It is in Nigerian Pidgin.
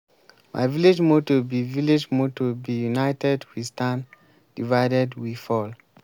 my village motto be village motto be united we stand divided we fall